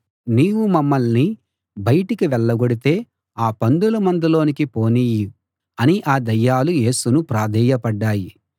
నీవు మమ్మల్ని బయటికి వెళ్ళగొడితే ఆ పందుల మందలోకి పోనియ్యి అని ఆ దయ్యాలు యేసును ప్రాధేయపడ్డాయి